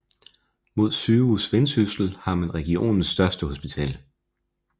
Med Sygehus Vendsyssel har man regionens største hospital